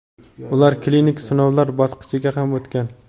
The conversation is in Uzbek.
ular klinik sinovlar bosqichiga ham o‘tgan.